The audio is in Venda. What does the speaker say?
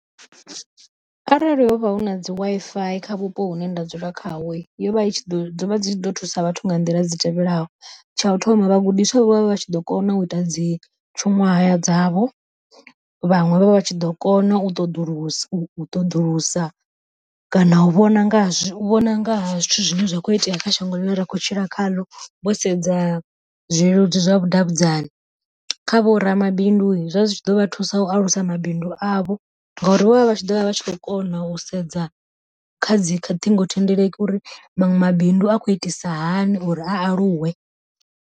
Arali hovha hu na dzi Wi-Fi kha vhupo hune nda dzula khawo, yo vha i ḓo thusa vhathu nga nḓila dzi tevhelaho, tsha u thoma vhagudiswa vho vha vha tshi ḓo kona u ita dzi tshiṅwahaya dzavho. Vhaṅwe vho vha vha tshi ḓo kona u ṱoḓulusa u ṱoḓulusa kana u vhona nga zwi vhona nga ha zwithu zwine zwa kho itea kha shango ḽine ra khou tshila khaḽo, vho sedza zwileludzi zwa vhudavhidzani. Kha vho ramabindu zwa zwi tshi ḓovha thusa u alusa mabindu avho ngauri vho vha vha tshi ḓovha vha tshi kho kona u sedza khadzi kha ṱhingothendeleki uri maṅwe mabindu a khou itisa hani uri a aluwe.